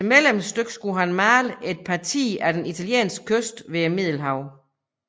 Til medlemsstykke skulle han male Et Parti af den italienske Kyst ved Middelhavet